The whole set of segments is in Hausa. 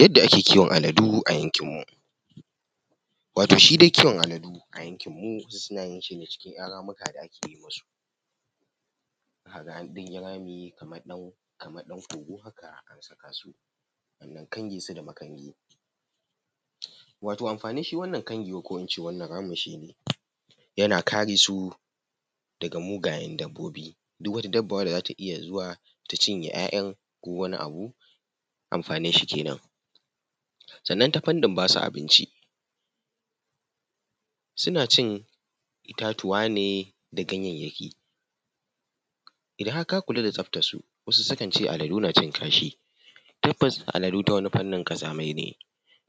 Yadda ake kiwon aladu a yankin mu, wato shi dai kiwon aladu a yankin mu suna yin shi ne cikin ‘yan ramuka da ake yin su za a ga an ɗan yi rami kamar kogo haka a saka su a ɗan kange su da makangi. Wato amfanin shi wannan kangewar ko in ce wannan rami shi ne, yana kare su daga mugayen dabbobi, duk wata dabba da zata iya zuwa ta cinye ‘ya’yan kowani abu, amfanin shi kenan. Sannan ta fannin basu abinci suna cin itatuwa ne da ganyayyaki, idan har ka kula da tsabtar su wasu sukan ce aladu na cin kasha, tabbas aladu ta wani fanni ƙazamai ne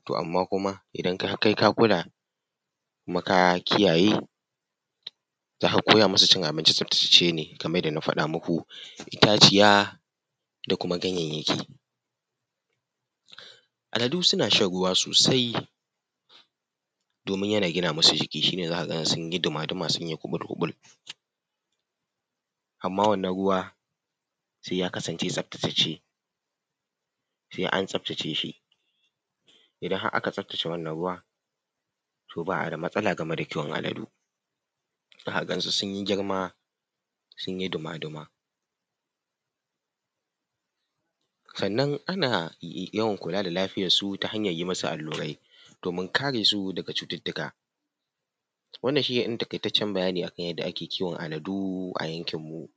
toh amma kuma idan har kai ka kula kuma ka kiyayye zaka koya masu cin abinci tsabtatacce ne kamar yadda na faɗa maku itaciya da kuma ganyayyaki. Aladu suna shan ruwa sosai domin yana gina masu jiki, shine za ka ga sun yi duma duma sun yi kuɓul-kuɓul amma wannan ruwa sai ya kasance tsabtatacce sai an tsabtace shi, idan har aka tsabtace wannan ruwa toh ba a da matsala da kiwon aladu zaka gan su sun yi girma sun yi duma-duma. Sannan ana yawan kula da lafiyar su ta hanyar yi masu allura domin kare su daga cututtuka. Wannan shine ɗan taƙaitaccen bayani kan yadda ake kiwon aladu a yankin mu.